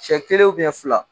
Cɛ kelen fila